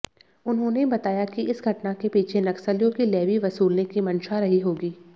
उन्होंने बताया कि इस घटना के पीछे नक्सलियों की लेवी वसूलने की मंशा रही होगी